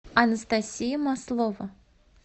анастасия маслова